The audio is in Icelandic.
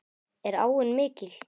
Er áin mikil?